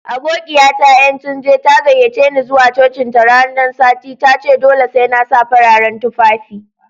Aboƙiya ta Yetunde, ta gayyace ni zuwa cocin ta ran sati. Ta ce dolle sai na sa fararen tuffafi.